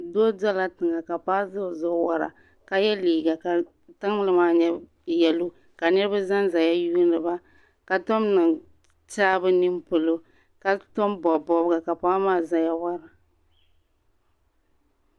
Doo dirila tiŋa ka paɣa do o zuɣu wara ka ye liiga ka tiŋli maa nye yalo ka niriba zanzaya yuuni ba ka tom niŋ tɛɛaa bɛ nini polo ka tom bɔbi bɔbiga ka paɣa maa zaya wara.